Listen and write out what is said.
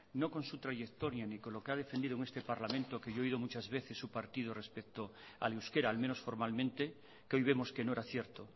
no con su trayectoria ni con lo que ha defendido en este parlamento que yo he oído muchas veces su partido respecto al euskera al menos formalmente que hoy vemos que no era cierto